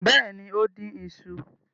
Bẹ́ẹ̀ ni, ó dín iṣu.